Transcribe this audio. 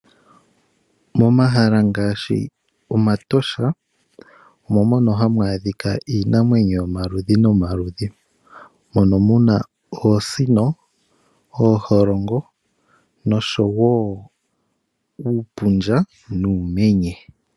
Momahala ngaashi Omatosha omo mono hamu adhika iinamwenyo yomaludhi nomaludhi mono mu na oosino, ooholongo oshowo uupundja nuumenye.